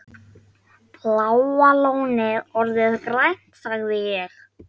Bláa lónið orðið grænt? sagði ég.